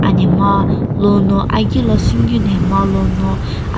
anhmegha lono agi lo sünikeu nhmegha lono ap--